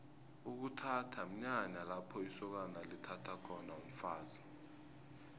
ukuthatha mnyanya lapho isokana lithatha khona umfazi